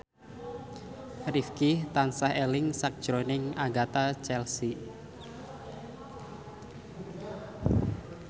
Rifqi tansah eling sakjroning Agatha Chelsea